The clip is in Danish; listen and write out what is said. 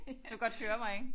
Du kan godt høre mig ik?